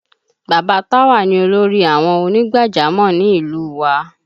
Bàbá Táwà ni olórí àwọn ònígbàjámọ̀ ni ìlú u wa